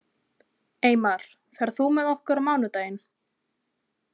Eymar, ferð þú með okkur á mánudaginn?